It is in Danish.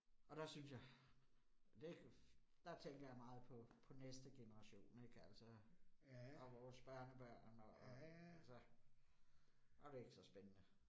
Og der synes jeg. Det der tænker jeg meget på på næste generation ik altså, og vores børnebørn og og altså. Så det ikke så spændende